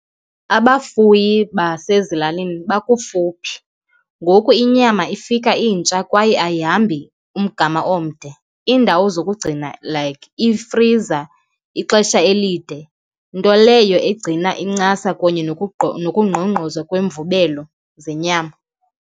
Abafuyi basezilalini bakufuphi, ngoku inyama ifika intsha kwaye ayihambi umgama omde. Iindawo zokugcina, like ifriza, ixesha elide, nto leyo egcina incasa kunye nokungqongqoza kweemvubelo zenyama.